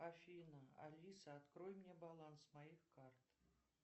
афина алиса открой мне баланс моих карт